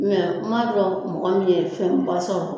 n m'a dɔn mɔgɔ min fɛnba sɔrɔ